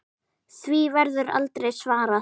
Því verður aldrei svarað.